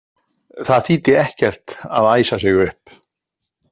Það þýddi ekkert að æsa sig upp.